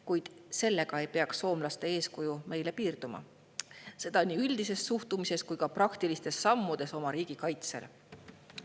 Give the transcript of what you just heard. Kuid sellega ei peaks soomlaste eeskuju meile piirduma, seda nii üldises suhtumises kui ka praktilistes sammudes oma riigi kaitsel.